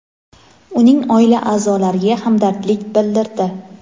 uning oila a’zolariga hamdardlik bildirdi.